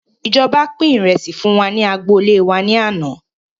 Ìjọba pin ìrẹsì fún wa ní agboolé wá ní àná